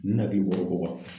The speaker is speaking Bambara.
Ne hakili bɔra o ko kan.